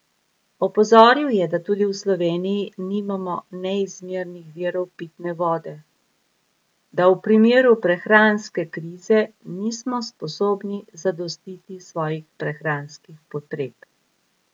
Opozoril je, da tudi v Sloveniji nimamo neizmernih virov pitne vode, da v primeru prehranske krize nismo sposobni zadostiti svojih prehranskih potreb.